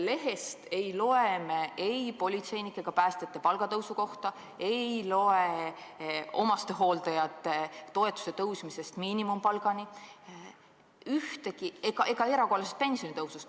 Lehest ei loe me ei politseinike ega päästjate palga tõstmisest, ei loe omastehooldajate toetuse suurendamisest miinimumpalgani ega erakorralisest pensionitõusust.